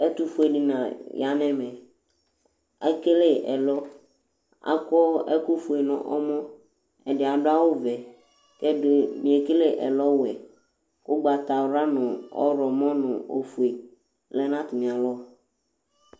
ɛtʊfue alʊnɩ ya nʊ ɛmɛ, ekele ɛlɔ, akɔ ɛkʊfue dʊ nʊ ɛmɔ, ɛdɩ adʊ awʊvɛ, kʊ ɛdɩ bɩ ekele ɛlɔwɛ, ugbatawla, ɔwlɔmɔ nʊ ofue lɛ nʊ atamialɔ